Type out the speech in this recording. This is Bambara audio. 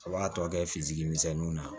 A b'a tɔ kɛ fitiri misɛnninw na